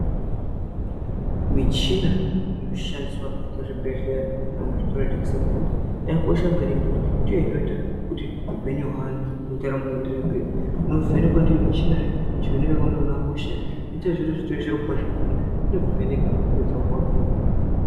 Michini inoshandiswa muzvibhehleya nemuzvitoro zvinotengesa mitombo yakakosha maningi ngekuti ndiyo unoita kuti upenyu hweanhu nendaramo ienderere mberi nekuvhenekwa ndiyo michina kuona kuti hauna hosha ere, zvinoita zviri zviro kwazvongekuti inokuvheneka wopedza wopuwa mitombo.